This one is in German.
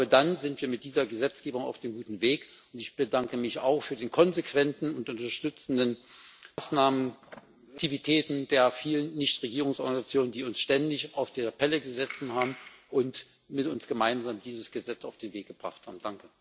Dann sind wir mit dieser Gesetzgebung auf einem guten Weg. Ich bedanke mich auch für die konsequenten und unterstützenden Maßnahmen und Aktivitäten der vielen Nichtregierungsorganisationen, die uns ständig auf der Pelle gesessen haben und mit uns gemeinsam dieses Gesetz auf den Weg gebracht haben.